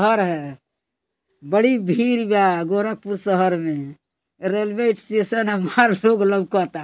घर है बड़ी भीड़ बा गोरखपुर शहर में रेलवे स्टेशन मार लोग लऊकता |